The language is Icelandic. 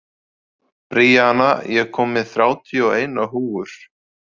Bríana, ég kom með þrjátíu og eina húfur!